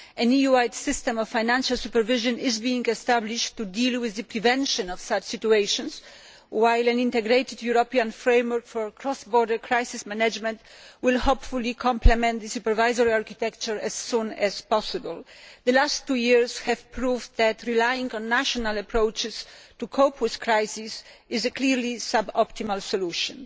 An EU wide system of financial supervision is being established to deal with the prevention of such situations, while an integrated European framework for cross border crisis management will hopefully compliment the supervisory architecture as soon as possible. The last two years have proven that relying on national approaches to cope with crises is clearly a sub optimal solution.